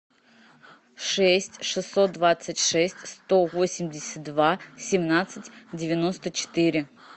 шесть шестьсот двадцать шесть сто восемьдесят два семнадцать девяносто четыре